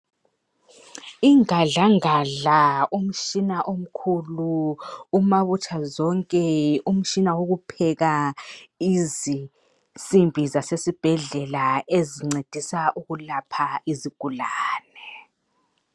Ingadlangadla umtshina omkhulu umabutha zonke umtshina wokupheka izinsimbi zasesibhedlela ezincedisa ukulapha izigulane